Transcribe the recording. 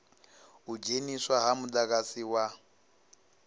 u dzheniswa ha mudagasi wa